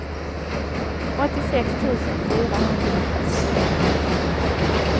åttiosex tusen fyrahundrafyrtioett